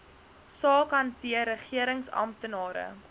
saak hanteer regeringsamptenare